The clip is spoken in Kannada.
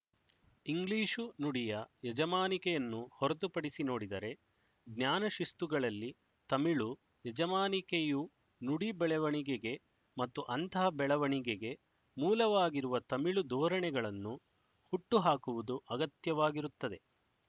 ಇಂಗ್ಲಿಶು ನುಡಿಯ ಯಜಮಾನಿಕೆಯನ್ನು ಹೊರತುಪಡಿಸಿ ನೋಡಿದರೆ ಜ್ಞಾನಶಿಸ್ತುಗಳಲ್ಲಿ ತಮಿಳು ಯಜಮಾನಿಕೆಯು ನುಡಿ ಬೆಳವಣಿಗೆಗೆ ಮತ್ತು ಅಂತಹ ಬೆಳವಣಿಗೆಗೆ ಮೂಲವಾಗಿರುವ ತಮಿಳು ಧೋರಣೆಗಳನ್ನು ಹುಟ್ಟು ಹಾಕುವುದು ಅಗತ್ಯವಾಗಿರುತ್ತದೆ